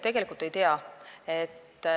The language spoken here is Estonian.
Tegelikult ma ei tea.